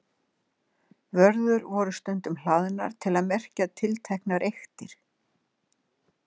Vörður voru stundum hlaðnar til að merkja tilteknar eyktir.